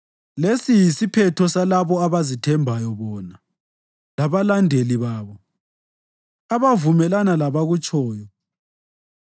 Lesi yisiphetho salabo abazithembayo bona, labalandeli babo, abavumelana labakutshoyo.